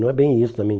Não é bem isso também.